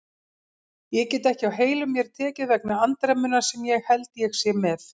Ég get ekki á heilum mér tekið vegna andremmunnar sem ég held ég sé með.